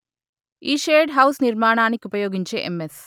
ఈ shade house నిర్మాణానికుపయోగించే MS